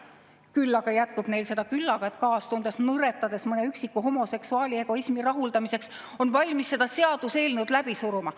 Küll aga jätkub neil seda küllaga, et kaastundest nõretades mõne üksiku homoseksuaali egoismi rahuldamiseks olla valmis seda seaduseelnõu läbi suruma.